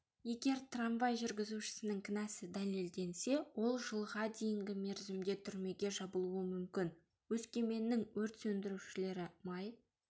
егер трамвай жүргізушісінің кінәсі дәлелденсе ол жылға дейінгі мерзімде түрмеге жабылуы мүмкін өскеменнің өрт сөндірушілері май